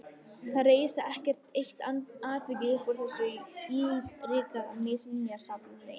Það reis ekkert eitt atvik upp úr þessu ylríka minjasafni.